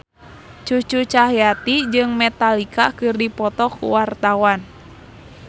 Cucu Cahyati jeung Metallica keur dipoto ku wartawan